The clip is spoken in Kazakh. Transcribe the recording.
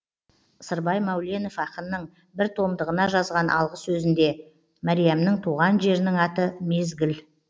сырбай мәуленов ақынның бір томдығына жазған алғы сөзінде мәриямның туған жерінің аты мезгіл